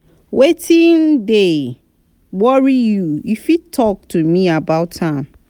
wetin dey worry you you fit talk to me about am?